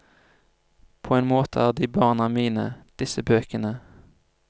På en måte er de barna mine, disse bøkene.